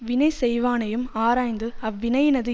வினை செய்வானையும் ஆராய்ந்து அவ்வினையினது